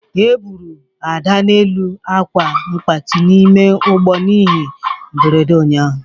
Eburu Ada n'elu akwa mgbati n'ime ụgbọ ihe mberede ụnyaahụ.